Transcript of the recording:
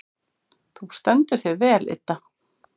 Þú stendur þig vel, Idda!